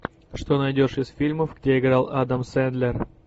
что найдешь из фильмов где играл адам сендлер